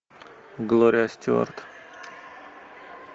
глория стюарт